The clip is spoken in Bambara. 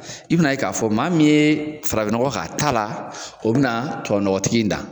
I bɛna ye k'a fɔ maa min ye farain nɔgɔ k'a ta la, a o bɛna tubabu nɔgɔtigi dan.